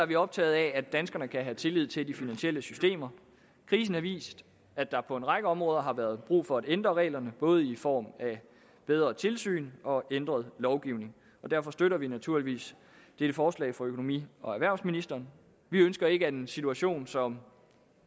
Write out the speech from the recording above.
vi optaget af at danskerne kan have tillid til de finansielle systemer krisen har vist at der på en række områder har været brug for at ændre reglerne både i form af bedre tilsyn og ændret lovgivning derfor støtter vi naturligvis dette forslag fra økonomi og erhvervsministeren vi ønsker ikke at en situation som